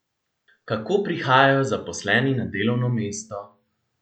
Kako prihajajo zaposleni na delovno mesto?